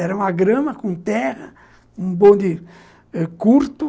Era uma grama com terra, um bonde curto.